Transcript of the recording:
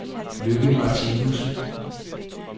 Lykke Martinussen